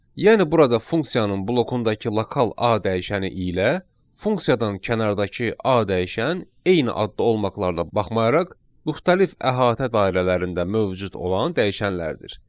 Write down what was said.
Yəni burada funksiyanın blokundakı lokal A dəyişəni ilə funksiyadan kənardakı A dəyişən eyni adda olmaqlarına baxmayaraq müxtəlif əhatə dairələrində mövcud olan dəyişənlərdir.